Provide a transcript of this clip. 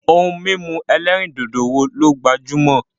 Ohun mímu ẹlẹ́rìndòdò wo ló gbajúmọ̀?